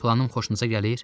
Planım xoşunuza gəlir?